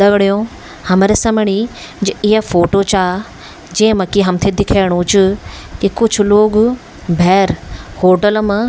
दगडियों हमरा समणी जू या फोटो चा जेमा की हमथे दिखेणु च की कुछ लोग भैर होटल मा --